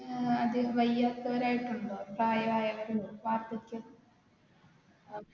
അത് വയ്യാത്തവരായിട്ടുണ്ടോ പ്രയായവരോ വാർദ്ധക്യം